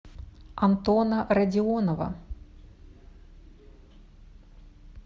антона родионова